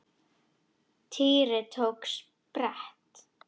Týri tók á sprett.